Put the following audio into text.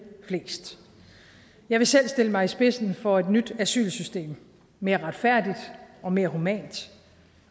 flest jeg vil selv stille mig i spidsen for et nyt asylsystem mere retfærdigt og mere humant